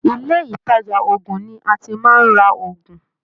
Ilé ìtàjà ògùn ní a tí màá n rá ògùn.